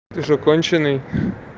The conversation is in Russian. ты что конченый